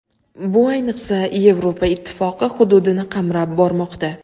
Bu, ayniqsa, Yevropa Ittifoqi hududini qamrab bormoqda.